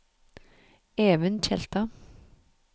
Even Tjelta